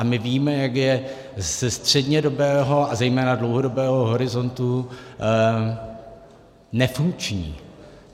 A my víme, jak je ze střednědobého a zejména dlouhodobého horizontu nefunkční.